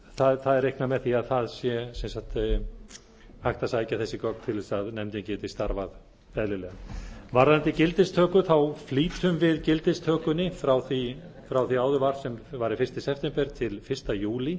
það er reiknað með því að það sé hægt að sækja þessi gögn til þess að nefndin geti starfað eðlilega varðandi gildistöku flýtum við gildistökunni frá því áður var sem var fyrsta september til fyrsta júlí